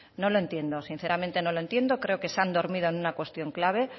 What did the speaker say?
no lo entiendo sinceramente no lo entiendo creo que se han dormido en una cuestión clave